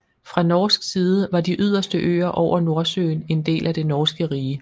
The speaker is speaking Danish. Fra norsk side var de yderste øer over Nordsøen en del af det norske rige